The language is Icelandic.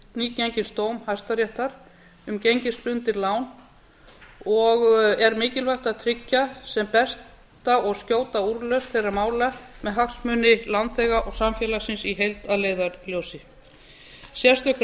nýgengins dóms hæstaréttar um gengisbundin lán og er mikilvægt að tryggja sem besta og skjóta úrlausn þeirra mála með hagsmuni lánþega og samfélagsins í heild að leiðarljósi sérstök